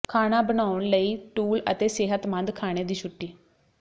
ਖਾਣਾ ਬਨਾਉਣ ਲਈ ਟੂਲ ਅਤੇ ਸੇਹਤਮੰਦ ਖਾਣੇ ਦੀ ਛੁੱਟੀ